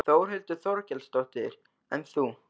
Þórhildur Þorkelsdóttir: En þú?